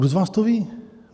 Kdo z vás to ví?